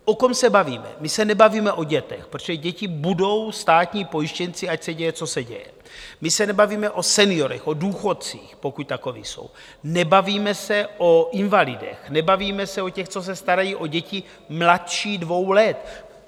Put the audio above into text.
O kom se bavíme: my se nebavíme o dětech, protože děti budou státní pojištěnci, ať se děje, co se děje, my se nebavíme o seniorech, o důchodcích, pokud takoví jsou, nebavíme se o invalidech, nebavíme se o těch, co se starají o děti mladší dvou let.